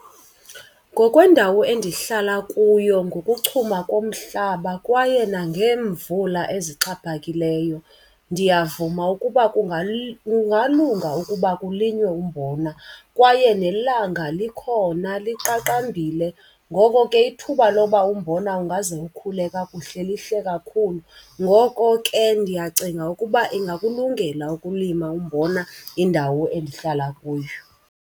Ngokweendawo endihlala kuyo, ngokuchuma komhlaba kwaye nangeemvula ezixhaphakileyo ndiyavuma ukuba kungalunga ukuba kulinywe umbona. Kwaye nelanga likhona liqaqambile, ngoko ke ithuba loba umbona ungaze ukhule kakuhle lihle kakhulu. Ngoko ke ndiyacinga ukuba ingakulungela ukulima umbona indawo endihlala kuyo.